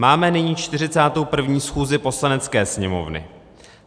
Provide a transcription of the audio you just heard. Máme nyní 41. schůzi Poslanecké sněmovny.